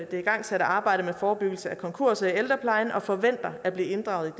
det igangsatte arbejde med forebyggelse af konkurser i ældreplejen og forventer at blive inddraget